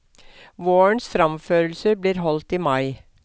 Vårens framførelser blir holdt i mai.